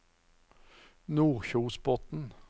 Nordkjosbotn